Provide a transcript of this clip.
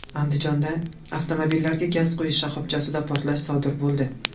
Andijonda avtomobillarga gaz quyish shoxobchasida portlash sodir bo‘ldi.